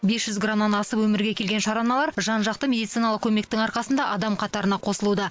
бес жүз грамнан асып өмірге келген шараналар жан жақты медициналық көмектің арқасында адам қатарына қосылуда